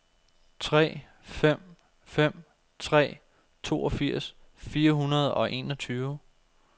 tre fem fem tre toogfirs fire hundrede og enogtyve